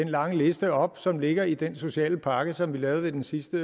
den lange liste op som ligger i den sociale pakke som vi lavede ved den sidste